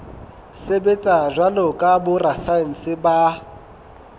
sebetsa jwalo ka borasaense ba